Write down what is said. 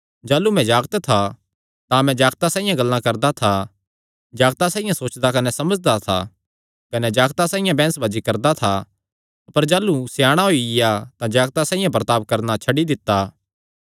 जाह़लू मैं जागत था तां मैं जागतां साइआं गल्लां करदा था जागतां साइआं सोचदा कने समझदा था कने जागतां साइआं बैंह्सबाजी करदा था अपर जाह़लू स्याणा होईया तां जागतां साइआं बर्ताब करणा छड्डी दित्ता